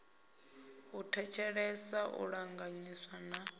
u thetshelesa u ṱanganyisa na